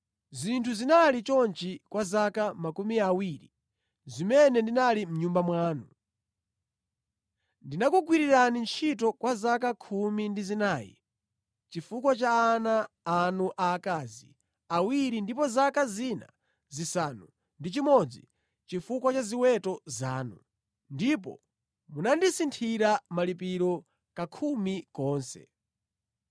Zinthu zinali chonchi kwa zaka makumi awiri zimene ndinali mʼnyumba mwanu. Ndinakugwirirani ntchito kwa zaka khumi ndi zinayi chifukwa cha ana anu aakazi awiri ndipo zaka zina zisanu ndi chimodzi chifukwa cha ziweto zanu, ndipo munandisinthira malipiro kakhumi konse.